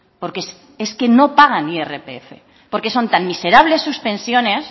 porque es que no pagan irpf porque son tan miserables sus pensiones